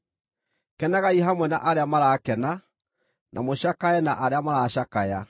Kenagai hamwe na arĩa marakena; na mũcakae na arĩa maracakaya.